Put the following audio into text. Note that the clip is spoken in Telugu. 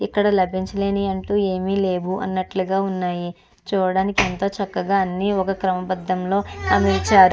ఇక్కడ లభించలేనివి అంటూ ఏమి లేవు అన్నట్లుగా ఉన్నాయి చుడానికి ఎంతో చక్కగా అన్నీ ఒక క్రమ పధంలో అమర్చారు.